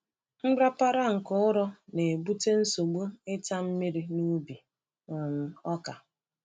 Nrapara nke ụrọ na-ebute nsogbu ịta mmiri n’ubi um ọka.